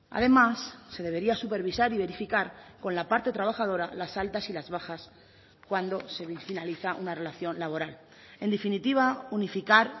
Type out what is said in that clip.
además se debería supervisar y verificar con la parte trabajadora las altas y las bajas cuando se finaliza una relación laboral en definitiva unificar